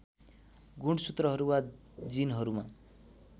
गुणसूत्रहरू वा जिनहरूमा